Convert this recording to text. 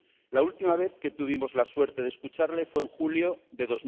La última vez que tuvimos la suerte de escucharle fue en julio de